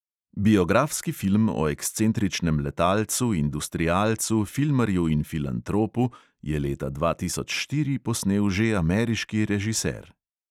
Biografski film o ekscentričnem letalcu, industrialcu, filmarju in filantropu je leta dva tisoč štiri posnel že ameriški režiser.